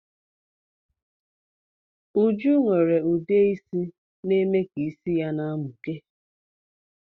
Uju nwere udeisi na-eme is ya na-emuke